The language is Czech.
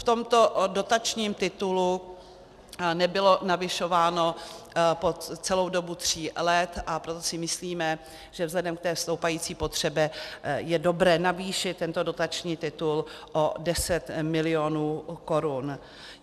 V tomto dotačním titulu nebylo navyšováno po celou dobu tří let, a proto si myslíme, že vzhledem k té stoupající potřebě je dobré navýšit tento dotační titul o 10 milionů korun.